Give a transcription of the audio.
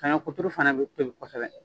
Saɲɔ kuturu fana bɛ tobi kosɛbɛ